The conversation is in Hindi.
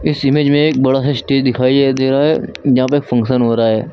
इस इमेज में एक बड़ा सा स्टेज दिखाई दे रहा है यहां पे फंक्शन हो रहा है।